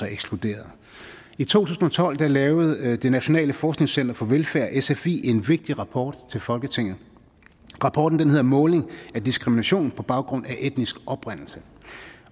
ekskluderet i to tusind og tolv lavede det nationale forskningscenter for velfærd sfi en vigtig rapport til folketinget rapporten hedder måling af diskrimination på baggrund af etnisk oprindelse